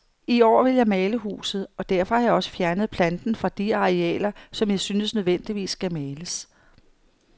I år vil jeg male huset, og derfor har jeg også fjernet planten fra de arealer, som jeg synes nødvendigvis skal males.